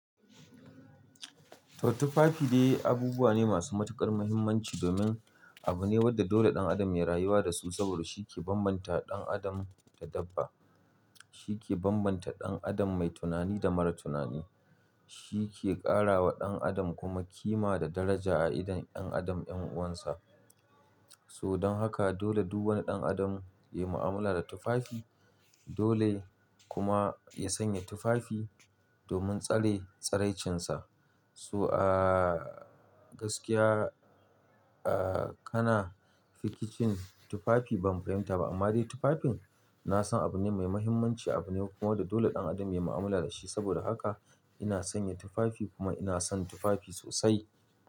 To tufafi dai abubuwa ne masu matuƙar muhimmanci domin abu ne wadda dole ɗan adam ya rayuwa da su saboda shi ke bambanta ɗan adam da dabba. Shi ke bambanta ɗan adam mai tunani da mara tunani. Shi ke ƙara wa ɗan adam kuma kima da daraja a idon ɗan adam 'yan uwansa. So don haka dole duk wani ɗan adam ya yi mu'amala da tufafi, dole kuma ya sanya tufafi domin tsare tsaraicinsa. So a gaskiya, a kana rikicin tufafi ban fahimta ba amma dai tufafin na san abu ne mai muhimmanci abu ne kuma wadda dole ɗan adam ya yi mu'amala da shi. Saboda haka ina sanya tufafi kuma ina son tufafi sosai.